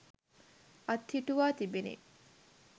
අත්හිටුවා තිබිණි.